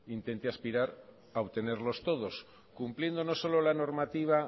intente aspirar a obtenerlos todos cumpliendo no solo la normativa